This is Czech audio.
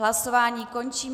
Hlasování končím.